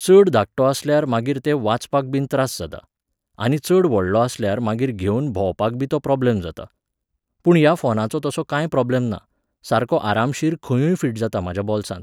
चड धाकटो आसल्यार मागीर ते वाचपाकबीन त्रास जातात. आनी चड व्हडलो आसल्यार मागीर घेवन भोंवपाकबी तो प्रोबलेम जाता. पूण ह्या फोनाचो तसो कांय प्रोब्लॅम ना, सारको आरामशीर खंयूय फिट जाता म्हाज्या बॉल्सांत.